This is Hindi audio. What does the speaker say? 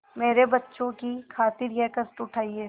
मेरे बच्चों की खातिर यह कष्ट उठायें